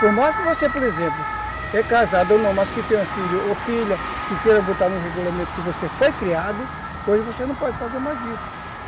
Por mais que você, por exemplo, é casado ou não, mas que tem uma filha ou filha que queiram botar num regulamento que você foi criado, hoje você não pode fazer mais isso.